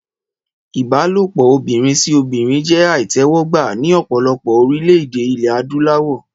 Ìbálòpọ̀ obìnrin sí obìnrin jẹ́ àìtẹ́wọ́gbà ní ọ̀pọ̀lọpọ̀ orílè-èdè ilé adúláwọ̀